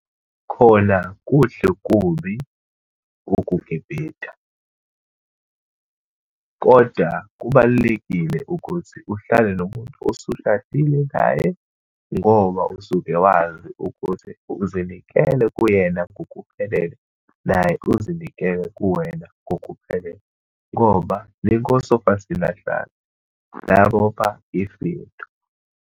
Khona kuhle kubi ukugibhida. Kodwa kubalulekile ukuthi uhlale nomuntu osushadile naye, ngoba usuke wazi ukuthi uzinikele kuyena ngokuphelele, naye uzinikele kuwena ngokuphelele. Ngoba ningosofa silahlane, nabopha ifindo.